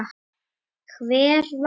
Hver vann?